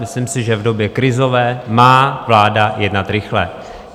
Myslím si, že v době krizové má vláda jednat rychle.